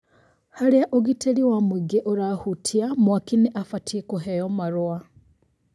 Harĩa ũgitĩri wa mũingĩ ũrahutia, mwaaki nĩ abatiĩ kũheo marũa